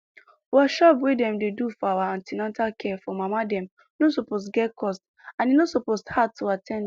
workshop wey dem dey do for for an ten atal care for mama dem no suppose get cost and e no suppose hard to at ten d